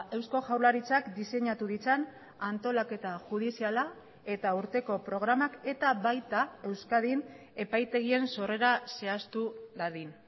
eusko jaurlaritzak diseinatu ditzan antolaketa judiziala eta urteko programak eta baita euskadin epaitegien sorrera zehaztu dadin